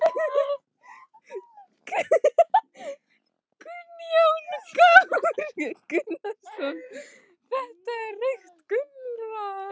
Kristján Már Unnarsson: Þetta er hvað reykt loðna?